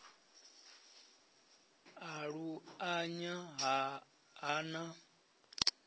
a lu anya ha na